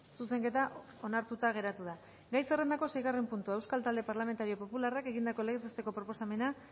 zuzenketa onartuta geratu da gai zerrendako seigarren puntua euskal talde parlamentario popularrak egindako legez besteko proposamena